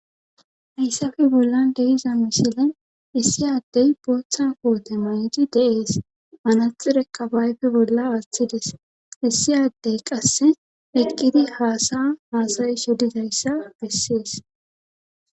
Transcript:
hayssafi bollan deiza misile issi addey booththan koote maydi deees manathi reka baayfi bolla aththides issi addey qasse eqqidi haasa haasayi shodidayssa bessees